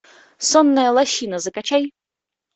сонная лощина закачай